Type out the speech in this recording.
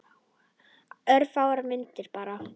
Örfáar myndir bara.